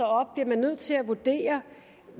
op bliver nødt til at vurdere